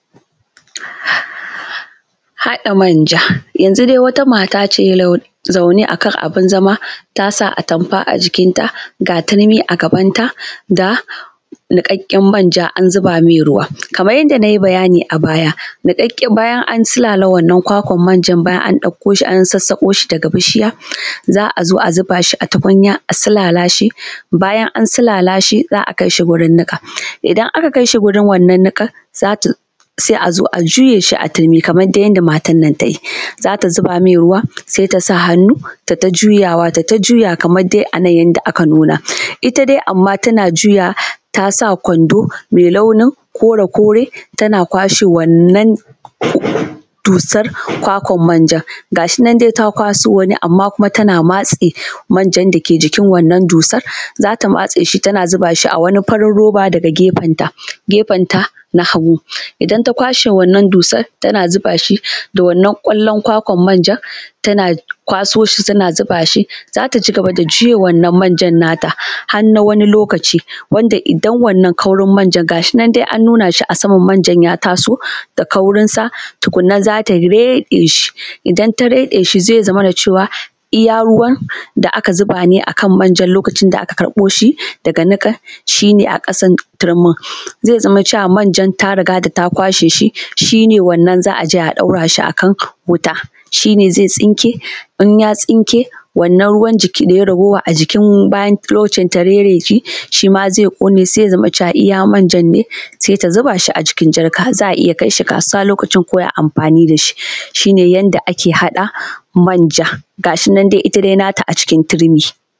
Haɗa manja yanzun dai wata mata ce zaune akan abun zama ta sa atamfa a jikinta ga turmi a gabanta da niƙaƙƙen manja, an zuba mai ruwa kamar yadda na yi bayani a baya niƙaƙƙe bayan an silala wannan kwakwan manjan, bayan an ɗauko shi an sassako shi daga bishiya za a zo a zuba shi a tukunya a silala shi, bayan an silala shi za a kai shi gurin niƙa idan aka kai shi gurin wannan niƙan za ta sai a zo a juye shi a turmi kaman ta yanda matan nan ta yi za ta zuba mai ruwa sai ta sa hannu ta yi ta juyawa ta yi ta juyawa kamar dai a nan yanda aka nuna, ita dai amma tana juyawa tasa kwando mai launin kore-kore tana kwashe wannan dusar kwakwan manjan gashi nan dai ta kwaso wani amma tana kwashe manjan da ke jikin wannan dussan, za ta kwashe shi tana zuba shi a wani farin roba daga gefenta. Gefenta na hagu idan ta kwashe wannan dusan tana zuba shi da wannan kwalban, kwakwan manjan tana kwaso shi tana zuba shi za ta cigaba da juya wannan manjan nata har na wani lokaci wanda idan wannan kaurin manjan gashin nan dai an nuna shi a saman manja, manjan ya taso da kaurinsa tukunna za ta reɗe shi idan ta rede shi zai zamanto cewa iya ruwan da aka zuba ne a manjan lokacin da aka karɓo shi daga niƙa shi ne aka san turmin zai zama cewa manjan ta riga da ta kwashe shi, shi ne wannan za a je a ɗaura a wuta shi ne zai tsinke in ya tsinke sannan ruwan jiki da ya yi raguwa a jikin bayan lokacin ta reɗe shi shi ma zai ƙone sai ya zama iya manjan ne sai ta zuba shi a cikin jarka za a iya kai shi kasuwa lokacin ko ai amfani da shi, shi ne yanda ake haɗa manja gashi nan dai ita nata a cikin turmi.